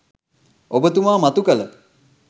ඔබතුමා මතු කළ